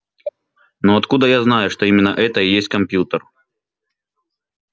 но откуда я знаю что именно это и есть компьютер